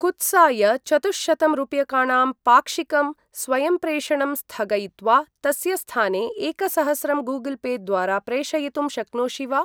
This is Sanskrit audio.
कुत्साय चतुःशतं रूप्यकाणां पाक्षिकम् स्वयंप्रेषणं स्थगयित्वा तस्य स्थाने एकसहस्रं गूगल् पे द्वारा प्रेषयितुं शक्नोषि वा?